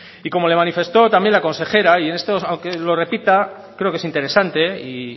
y como le manifestó también la consejera y aunque lo repita creo que es interesante y